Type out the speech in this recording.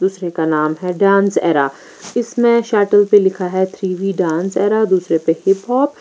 इस रि का नाम है डांस एरा इसमे शटल पे लिखा है थ्री व्ही डांस एरा दूसरे पे हिपहॉप --